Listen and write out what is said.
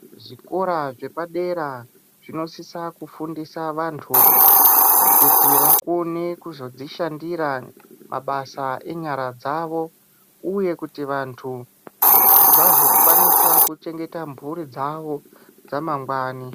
Zvikora zvepadera zvinosisa kufundisa vantu kuti vakone kuzozvishandira mabasa enyara dzavo uye kuti vantu vazokwanisa kuchengeta mhuri dzavo dzamangwani.